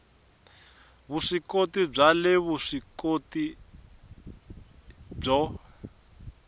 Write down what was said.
vuswikoti bya le vuswikoti byo